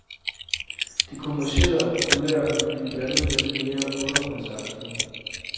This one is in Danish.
Det kommercielle og populære vil blive blandet med det mere undergrundsagtige.